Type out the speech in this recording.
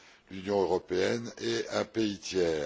l'Union européenne et un pays tiers.